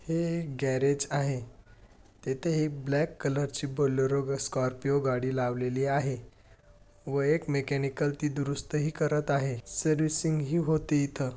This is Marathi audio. हे गॅरेज आहे तेथे एक ब्लॅक कलर ची बोलेरो स्कॉर्पिओ गाडी लावलेली आहे व एक मेकॅनिकल ती दुरुस्तही करत आहे. सर्विसिंग ही होती इथ.